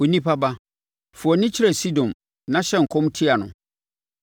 “Onipa ba, fa wʼani kyerɛ Sidon na hyɛ nkɔm tia no